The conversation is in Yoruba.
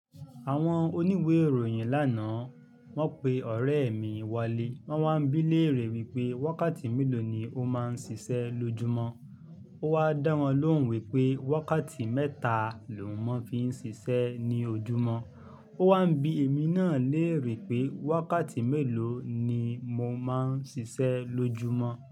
Àwọn oníwèé ìròyìn lánàá, wọ́n pe ọ̀rẹ́ mi walé. Wọ́n wá ń bí léèrè wípé wákàtí mélòó ni ó máa ń ṣiṣẹ́ lójúmọ́. Ó wá dán wan lóhùn wípé wákàtí mẹ́ta lòún mó fi ń ṣiṣẹ́ ní ojúmọ́. Ó wá ń bí èmi náà léèrè wípé wákàtí mélòó ni mo máa ń ṣiṣẹ́ lójúmọ́